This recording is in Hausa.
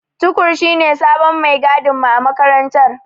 Tukur shine sabon maigadinmu a makarantar.